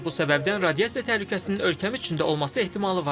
Bu səbəbdən radiasiya təhlükəsinin ölkəmizdə olması ehtimalı var idi.